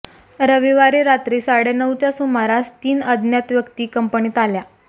रविवारी रात्री साडेनऊच्या सुमारास तीन अज्ञात व्यक्ती कंपनीत आल्या